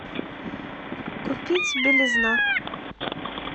купить белизна